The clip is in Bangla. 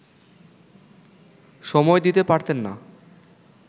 সময় দিতে পারতেন না